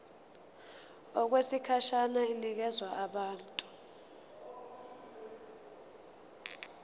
okwesikhashana inikezwa abantu